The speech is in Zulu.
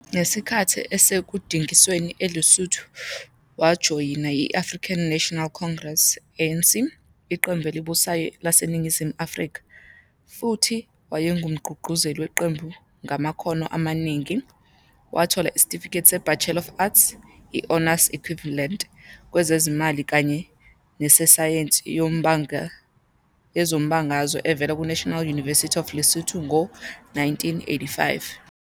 Ngesikhathi esekudingisweni eLesotho, wajoyina i-African National Congress, ANC, iqembu elibusayo laseNingizimu Afrika, futhi wayengumgqugquzeli weqembu ngamakhono amaningi. Wathola isitifiketi se-Bachelor of Arts, i-honors equivalent, kwezezimali kanye nesayensi yezombangazwe evela ku-National University of Lesotho ngo-1985.